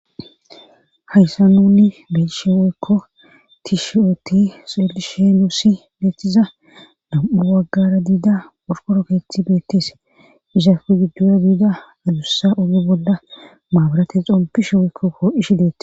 Hayssa nuni beshe weykko ti shi7ooti xeelishe nusi beeththiza dam7u waggara diida orkoro keeththi beettes izaku giddora diida adussa oge bolla maaburate xompishe woykko kooishi deettis.